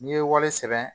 N'i ye wale sɛbɛn